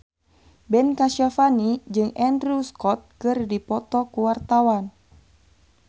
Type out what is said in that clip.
Ben Kasyafani jeung Andrew Scott keur dipoto ku wartawan